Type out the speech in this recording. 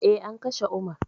Eh, an kashe umar